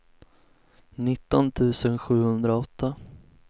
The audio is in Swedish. nitton tusen sjuhundraåtta